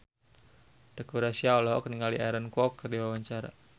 Teuku Rassya olohok ningali Aaron Kwok keur diwawancara